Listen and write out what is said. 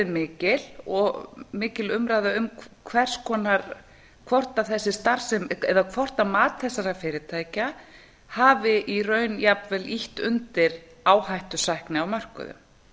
mikil og mikil umræða um hvers konar eða hvort mat þessara fyrirtækja hafi í raun jafnvel ýtt undir áhættusækni á mörkuðum